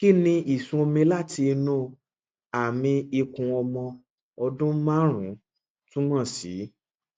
kí ni ìsun omi láti inú àmì ikùn ọmọ ọdún márùnún túmọ sí